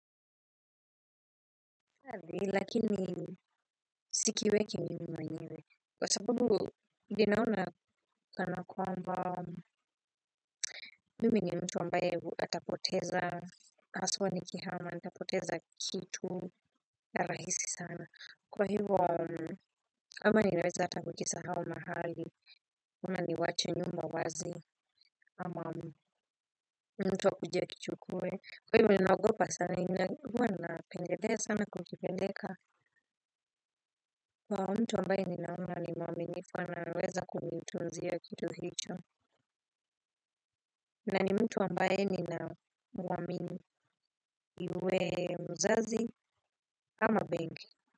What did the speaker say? Lakini sikiweki mimi mwenyewe. Kwa sababu, binaona kana kwa mba mimi ni mtu ambaye atapoteza haswa nikihama nitapoteza kitu rahisi sana. Kwa hivo, ama ninaeza ata kukisahau mahali. Ama niwache nyumba wazi ama mtu akuje akichukue. Kwa hivo ninagopa sana, huwa natengeneza na kukipeleka. Kwa mtu ninaona ni mwaminifu anaweza kunitunzia kitu hicho, na ni mtu ambaye ninamwamini, iwe mzazi ama benki.